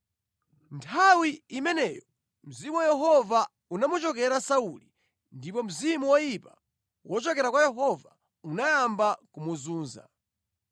Nthawi imeneyo Mzimu wa Yehova unamuchokera Sauli, ndipo mzimu woyipa wochokera kwa Yehova unayamba kumuzunza.